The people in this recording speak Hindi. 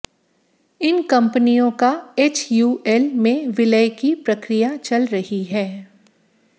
इन कंपनियों का एचयूएल में विलय की प्रक्रिया चल रही है